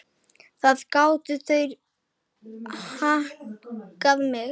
Þar gátu þeir hankað mig.